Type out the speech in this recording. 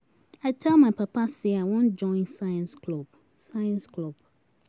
I tell my papa say I wan join science club science club.